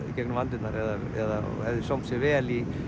í gegnum aldirnar eða hefði sómt sér vel í